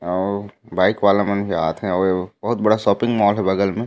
अऊ बाइक वाला मन जात हे बहुत बड़ा शॉपिंग मॉल हे बगल मे--